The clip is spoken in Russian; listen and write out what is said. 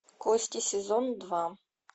кости сезон два